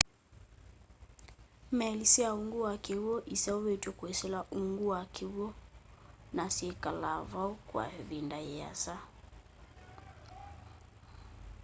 meli sya ungu wa kiwu iseuvitwe kwisila ungu wa kiwu na syikalaa vau kwa ivinda yiasa